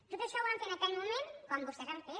tot això ho van fer en aquell moment quan vostès han fet